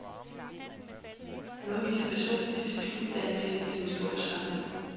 Han udviste personlig disciplin, da han talte til den store forsamling.